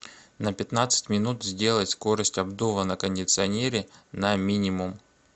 на пятнадцать минут сделать скорость обдува на кондиционере на минимум